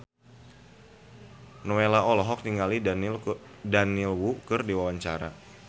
Nowela olohok ningali Daniel Wu keur diwawancara